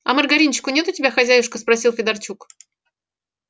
а маргаринчику нет у тебя хозяюшка спросил федорчук